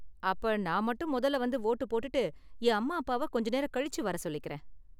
அப்ப நான் மட்டும் முதல்ல வந்து வோட்டு போட்டுட்டு என் அம்மா அப்பாவ கொஞ்ச நேரம் கழிச்சு வர சொல்லிக்கறேன்.